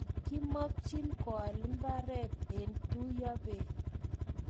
Kimokchin koal mbaret eng tuyobei